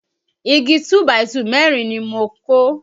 Igi 2 by 2 mẹ́rin ni mo kó